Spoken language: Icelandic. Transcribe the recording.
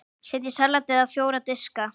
Setjið salatið á fjóra diska.